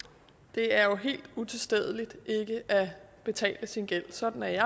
det er jo helt utilstedeligt ikke at betale sin gæld sådan er jeg